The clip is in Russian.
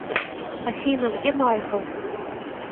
афина где майкл